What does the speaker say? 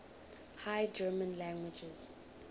high german languages